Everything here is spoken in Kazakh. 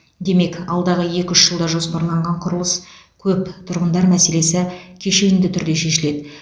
демек алдағы екі үш жылда жоспарланған құрылыс көп тұрғындар мәселесі кешенді түрде шешіледі